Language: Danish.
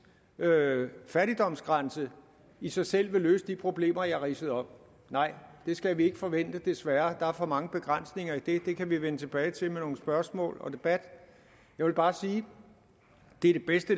fattigdomsgrænse i sig selv vil løse de problemer jeg ridsede op nej det skal vi ikke forvente desværre der er for mange begrænsninger i det det kan vi vende tilbage til med nogle spørgsmål og debat jeg vil bare sige det